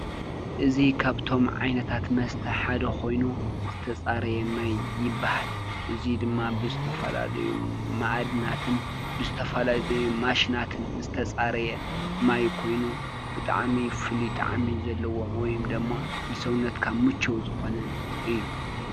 እዙይ ካብቶም ዓይነታት መስተ ሓደ ኮይኑ ዝተፃረየ ማይ ይበሃል ።እዙይ ድማ ብዝተፈላለዩ ማኣድናት ን ብዝተፈላለዩ ማሽናትን ዝተፃረየ ማይ ኮይኑ ብጣዕሚ ፍሉይ ጣዕሚ ዘለዎ ወይደሞ ንሰብነትካ ምችው ዝኮነ እዩ።